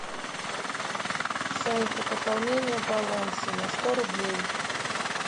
санька пополнение баланса на сто рублей